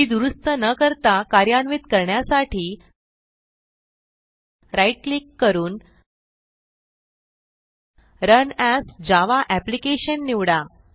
ती दुरूस्त न करता कार्यान्वित करण्यासाठी राईट क्लिक करून रन एएस जावा एप्लिकेशन निवडा